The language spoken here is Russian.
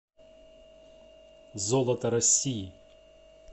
золото россии